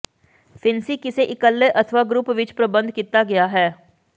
ਫਿਣਸੀ ਕਿਸੇ ਇਕੱਲੇ ਅਥਵਾ ਗਰੁੱਪ ਵਿੱਚ ਪ੍ਰਬੰਧ ਕੀਤਾ ਗਿਆ ਹੈ